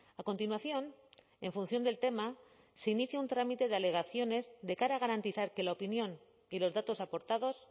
a continuación en función del tema se inicia un trámite de alegaciones de cara a garantizar que la opinión y los datos aportados